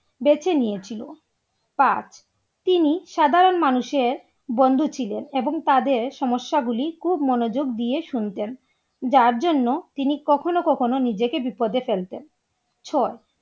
বেঁচে নিয়েছিল পাঁচ তিনি সাধারণ মানুষের বন্ধু ছিল এবং তাদের সমস্যা গুলি খুব মনোযোগ দিয়ে শুনতেন যার জন্য তিনি কখনো কখনো নিজেকে বিপদে ফেলতেন ছয়